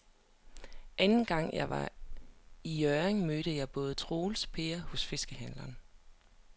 Anden gang jeg var i Hjørring, mødte jeg både Troels og Per hos fiskehandlerne.